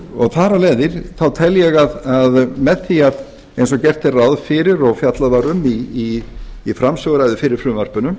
þar af leiðandi tel ég að með því eins og gert er ráð fyrir og fjallað var um í framsöguræðu fyrir frumvarpinu